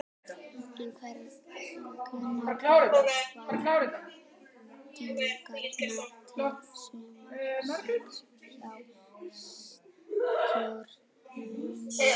En hverjar eru væntingarnar til sumarsins hjá Stjörnunni?